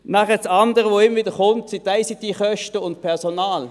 Das andere, was immer wieder genannt wird, sind die ICT-Kosten und Personalkosten.